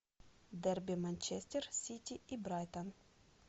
дерби манчестер сити и брайтон